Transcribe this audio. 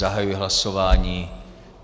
Zahajuji hlasování.